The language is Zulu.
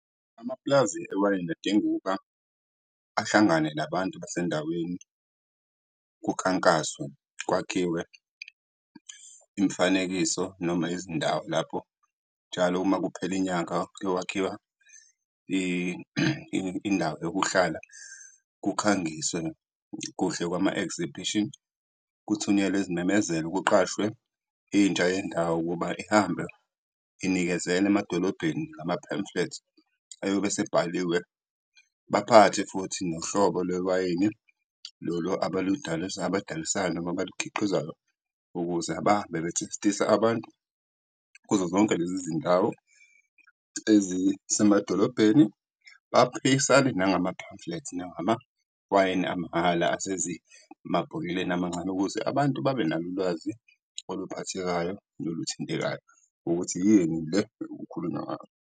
Amapulazi ewayini adinga ukuba ahlangane nabantu basendaweni, kukhankaswe, kwakhiwe imifanekiso noma izindawo lapho njalo uma kuphela inyanga kuyokwakhiwa indawo yokuhlala, kukhangiswe kuhle kwama-exhibition. Kuthunyelwe izimemezelo, kuqashwe intsha yendawo ukuba ihambe inikezela emadolobheni ama-pamphlets ayobe asebhaliwe. Baphathe futhi nohlobo lwewayini lolo abalidayisayo noma abalikhiqizayo ukuze bahambe be-taste-isa abantu kuzo zonke lezi zindawo ezisemadolobhedeni, baphisane nangama-pamphlet nangamawayini amahhala amancane ukuze abantu babenalo ulwazi oluphathekayo noluthintekayo ukuthi yini le ekukhulunywa ngayo.